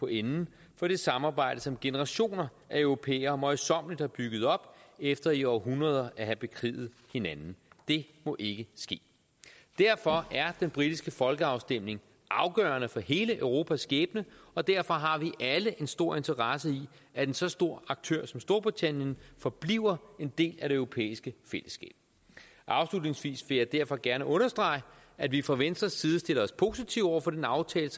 enden for det samarbejde som generationer af europæere møjsommeligt har bygget op efter i århundreder at have bekriget hinanden det må ikke ske derfor er den britiske folkeafstemning afgørende for hele europas skæbne og derfor har vi alle en stor interesse i at en så stor aktør som storbritannien forbliver en del af det europæiske fællesskab afslutningsvis vil jeg derfor gerne understrege at vi fra venstres side stiller os positive over for den aftale